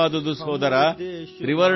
ತೀನ್ ದಿಶಾ ಸಮುನ್ದರ್ ಸೇ ಧಿರಾ